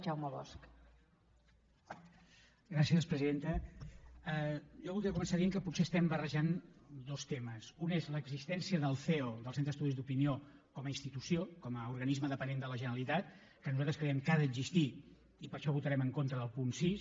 jo voldria començar dient que potser estem barrejant dos temes un és l’existència del ceo del centre d’estudis d’opinió com a institució com a organisme dependent de la generalitat que nosaltres creiem que ha d’existir i per això votarem en contra del punt sis